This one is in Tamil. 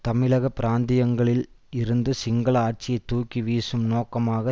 தமிழக பிராந்தியங்களில் இருந்து சிங்கள ஆட்சியை தூக்கி வீசும் நோக்கமாக